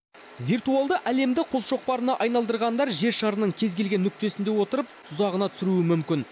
виртуалды әлемді қолшоқпарына айналдырғандар жер шарының кез келген нүктесінде отырып тұзағына түсіруі мүмкін